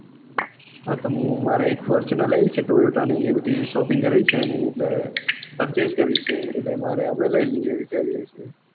હા તો હું મારે એક fortuner લેવી છ toyota તો એ બધી shopping કરવી છે ને purchase કરવી છે તો આપડે લઇ લઈએ.